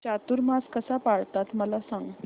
चातुर्मास कसा पाळतात मला सांग